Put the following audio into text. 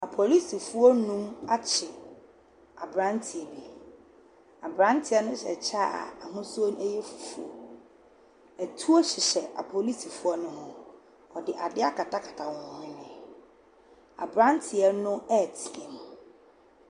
Apolisifoɔ nnuma akye aberanteɛ bi. Aberanteɛ nohyɛ kyɛ a n'ahosuo no yɛ fufuo. Atuo heyhɛ apolisifoɔ no ho. Wɔde adeɛ akatakata wɔn hwene. Aberanteɛ no reteam.